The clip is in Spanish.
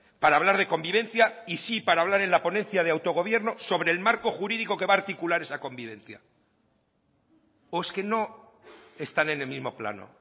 para hablar de convivencia y sí para hablar en la ponencia de autogobierno sobre el marco jurídico que va a articular esa convivencia o es que no están en el mismo plano